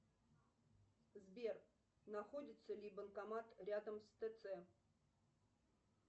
сбер находится ли банкомат рядом с тц